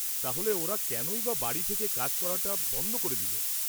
তাহলে ওরা কেনই বা বাড়ি থেকে কাজ করাটা বন্ধ করে দিল?